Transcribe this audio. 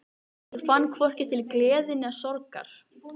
Ég fann hvorki til gleði né sorgar.